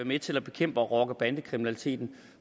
med til at bekæmpe rocker bande kriminaliteten